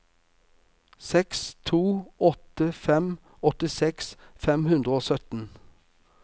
seks to åtte fem åttiseks fem hundre og sytten